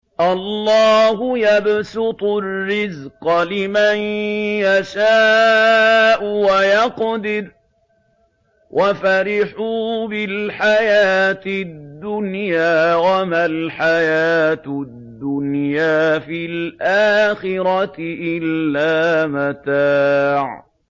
اللَّهُ يَبْسُطُ الرِّزْقَ لِمَن يَشَاءُ وَيَقْدِرُ ۚ وَفَرِحُوا بِالْحَيَاةِ الدُّنْيَا وَمَا الْحَيَاةُ الدُّنْيَا فِي الْآخِرَةِ إِلَّا مَتَاعٌ